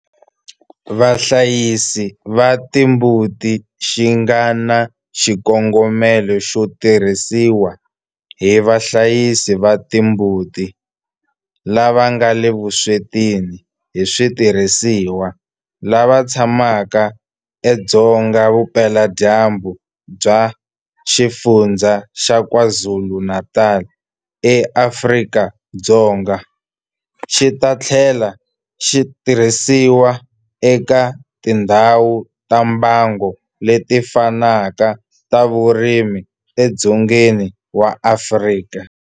Vahlayisi va timbuti xi nga na xikongomelo xo tirhisiwa hi vahlayisi va timbuti lava nga le vuswetini hi switirhisiwa lava tshamaka edzonga vupeladyambu bya Xifundzha xa KwaZulu-Natal eAfrika-Dzonga, xi ta tlhela xi tirhisiwa eka tindhawu ta mbango leti fanaka ta vurimi edzongeni wa Afrika.